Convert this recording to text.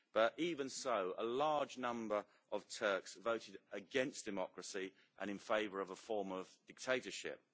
But even so, a large number of Turks voted against democracy and in favour of a form of dictatorship.